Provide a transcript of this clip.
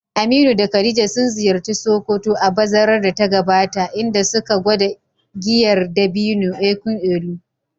Aminu da Khadija sun ziyarci Sokoto a bazarar da ta gabata, inda suka gwada giyar dabino, (nkwu elu).